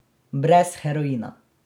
Brez heroina.